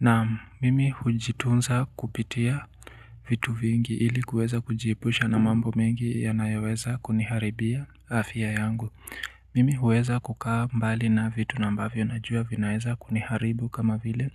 Na mimi hujitunza kupitia vitu vingi ili kuweza kujiepusha na mambo mengi yanayoweza kuniharibia afya yangu. Mimi huweza kukaa mbali na vitu na ambavyo najua vinaweza kuniharibu kama vile